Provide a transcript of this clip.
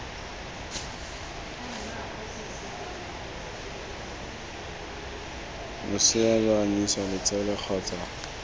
losea lo anyisiwa letsele kgotsa